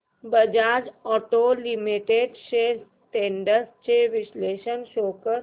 Bajaj auto limited shares trends चे विश्लेषण show कर